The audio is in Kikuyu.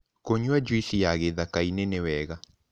Kũnyua jũĩsĩ ya gĩthakaĩnĩ nĩwega